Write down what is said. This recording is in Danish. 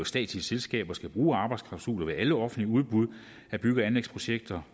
statslige selskaber skal bruge arbejdsklausuler ved alle offentlige udbud af bygge og anlægsprojekter